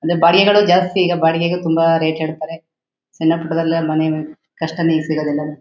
ಅಲ್ಲಿ ಬಾಡಿಗೆಗಳು ಜಾಸ್ತಿ ಈಗ ಬಾಡಿಗೆಗೆ ತುಂಬಾ ರೇಟ್ ಹೇಳ್ತಾರೆ. ಸಣ್ಣ ಪುಟ್ಟದೆಲ್ಲಾ ಮನೆ ಕಷ್ಟಾನೆ ಈಗ ಸಿಗೊದೆಲ್ಲ.